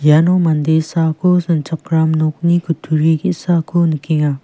iano mande saako sanchakram nokni kutturi ge·sako nikenga.